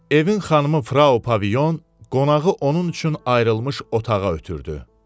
Evin xanımı Frau Pavilyon qonağı onun üçün ayrılmış otağa ötrdü.